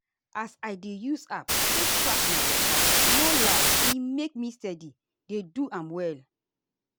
as i dey use app take track my waka no lie e make me steady dey do am well.